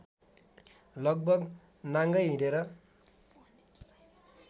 लगभग नाङ्गै हिँडेर